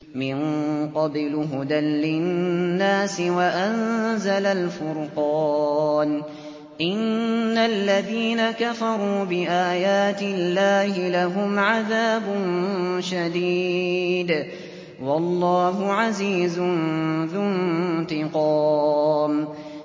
مِن قَبْلُ هُدًى لِّلنَّاسِ وَأَنزَلَ الْفُرْقَانَ ۗ إِنَّ الَّذِينَ كَفَرُوا بِآيَاتِ اللَّهِ لَهُمْ عَذَابٌ شَدِيدٌ ۗ وَاللَّهُ عَزِيزٌ ذُو انتِقَامٍ